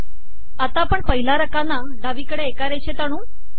आता आपण पहिला रकाना डावीकडे एका रेषेत आणू